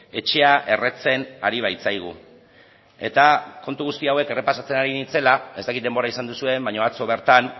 etxea erretzen ari baitzaigu eta kontu guzti hauek errepasatzen ari nintzela ez dakit denbora izan duzuen baina atzo bertan